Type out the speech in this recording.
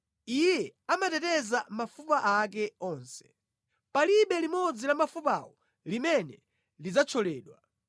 Iye amateteza mafupa ake onse, palibe limodzi la mafupawo limene lidzathyoledwa.